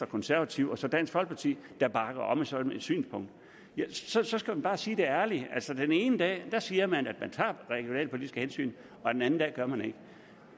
konservative og så dansk folkeparti der bakker op om sådan et synspunkt så skal man bare sige det ærligt altså den ene dag siger man at man tager regionalpolitiske hensyn og den anden dag gør man ikke